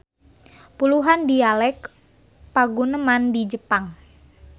Puluhan dialek paguneman di Jepang.